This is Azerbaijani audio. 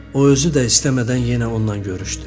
O özü də istəmədən yenə onunla görüşdü.